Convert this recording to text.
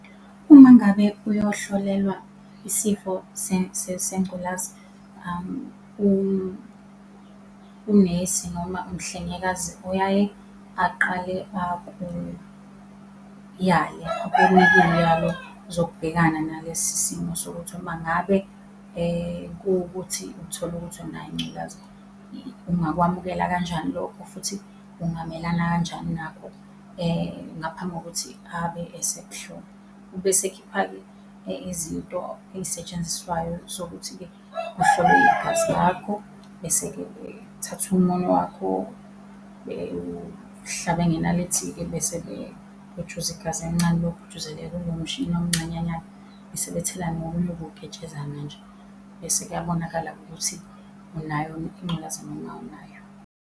Uma ngabe uyohlolelwa isifo sengculaza, unesi noma umhlengikazi uyaye aqale akuyale, zokubhekana nalesi simo sokuthi uma ngabe kuwukuthi uthola ukuthi unayo ingculaza ungakwamukela kanjani lokho futhi ungamelana kanjani nakho, ngaphambi kokuthi abe esemuhlola, Ube esekhipha-ke izinto ey'setshenziswayo zokuthi-ke kuhlolwe igazi lakho bese-ke kuthathwa umunwe wakho bewuhlabe ngenalithi-ke, bese-ke kujuza igazi elincanelilokhu lijuzelela kulo mshini omncanyanyana, bese bethela nokunye okuwuketshezana nje, bese kuyabonakala-ke ukuthi unayo yini ingculaza noma awunayo.